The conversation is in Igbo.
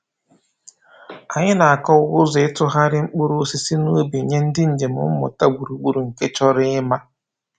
Anyị na-akọwa ụzọ ịtụgharị mkpụrụ osisi n’ubi nye ndị njem mmụta gburugburu nke chọrọ ịma.